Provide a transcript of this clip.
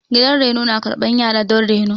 Gidan reno na karɓan yara don reno.